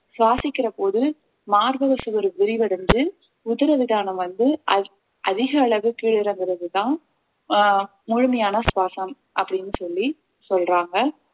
சுவாசிக்கிற போது மார்பக சுவர் விரிவடைந்து உதிர விதானம் வந்து அதி~ அதிக அளவு கீழே இறங்குறதுதான் அஹ் முழுமையான சுவாசம் அப்படின்னு சொல்லி சொல்றாங்க